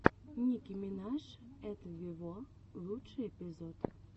ники минаж эт вево лучший эпизод